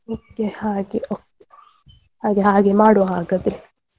ಮತ್ತೆ ಹಾಗೆ okay ಹಾಗೆ ಹಾಗೆ ಮಾಡುವ ಹಾಗದ್ರೆ.